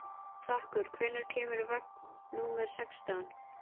Dufþakur, hvenær kemur vagn númer sextán?